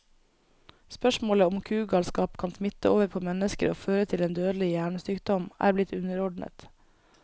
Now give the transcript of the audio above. Spørsmålet om kugalskap kan smitte over på mennesker og føre til en dødelig hjernesykdom, er blitt underordnet.